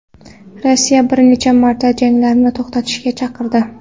Rossiya bir necha marta janglarni to‘xtatishga chaqirdi .